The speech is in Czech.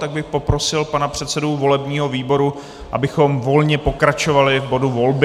Tak bych poprosil pana předsedu volebního výboru, abychom volně pokračovali v bodu volby.